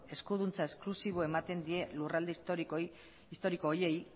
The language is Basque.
eskuduntza esklusibo ematen die lurralde historiko horiei